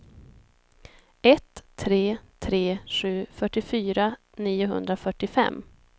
ett tre tre sju fyrtiofyra niohundrafyrtiofem